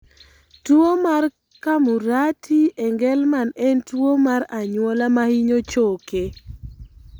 Tuwo mar Camurati Engelmann en tuwo mar anyuola ma hinyo choke.